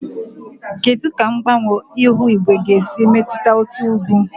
Kedu ka mgbanwe ihu igwe ga-esi metụta oke ugwu?